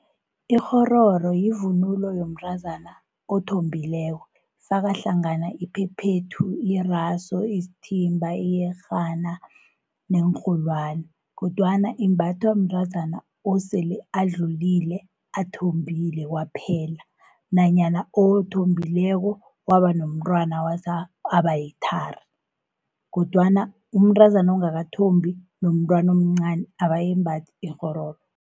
Ikghororo yivunulo yomntrazana othombileko, faka hlangana iphephethu, irasu, isithimba, iyerhana neenrholwani, kodwana imbathwa mntrazana osele adlulile, athombile kwaphela, nanyana othombileko wabanomntwana wasa wabayithari, kodwana umntrazana ongakathombi, nomntwanomncani abayimbathi ikghororo.